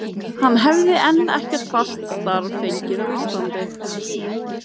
Hann hefði enn ekkert fast starf fengið heima á Íslandi.